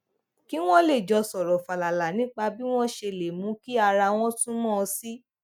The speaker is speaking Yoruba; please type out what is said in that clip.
kí wón lè jọ sòrò fàlàlà nípa bí wón ṣe lè mú kí ara wọn sunwòn sí i